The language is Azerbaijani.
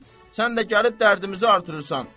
Sən də gəlib dərdimizi artırırsan.